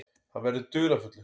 Hann verður dularfullur.